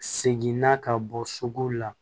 Seginna ka bɔ sogow la